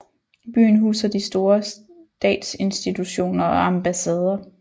Byen huser de store statsinstitutioner og ambassader